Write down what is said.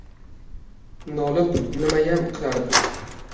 Nolib nimayam qilardim.